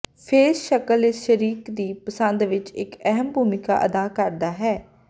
face ਸ਼ਕਲ ਇਸ ਸ਼ਰੀਕ ਦੀ ਪਸੰਦ ਵਿੱਚ ਇੱਕ ਅਹਿਮ ਭੂਮਿਕਾ ਅਦਾ ਕਰਦਾ ਹੈ